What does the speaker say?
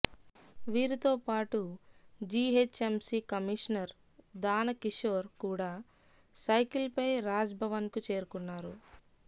వీరితో పాటు GHMC commissioner Danakishore కూడా సైకిల్పై రాజ్భవన్కు చేరుకున్నారు